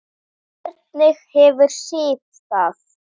Ekki þið hin!